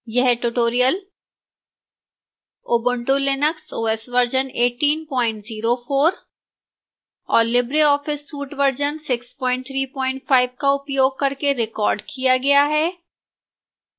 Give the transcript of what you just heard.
यह tutorial ubuntu linux os version 1804 और libreoffice suite version 635 का उपयोग करके recorded किया गया है